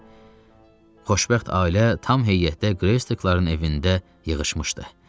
Xoşbəxt ailə tam heyətdə Greystakların evində yığışmışdı.